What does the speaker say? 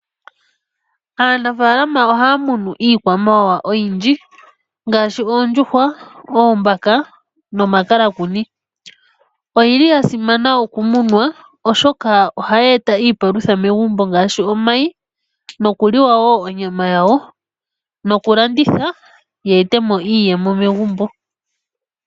Aanafalama ohaya munu iikwamawawa oyindji mgaashi oondjuhwa, oombaka nomakalakuni. Oyili ya simana okumunwa oshoka ohayi eta iipalutha megumbo ngaashi omayi, nokuliwa wo onyama yawo nokulanditha yi etemo iiyemo megumbo.